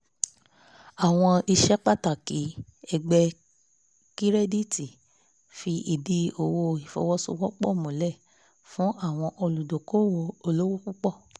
àwọn iṣẹ́ pàtàkì ẹgbẹ́ kirẹditi fi ìdì owó ìfowóṣowópò pọ̀ múlẹ̀ fún àwọn olùdókòwò olówó púpọ̀